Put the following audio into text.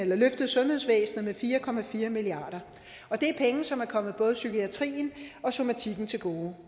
løftet sundhedsvæsenet med fire milliard kr og det er penge som er kommet både psykiatrien og somatikken til gode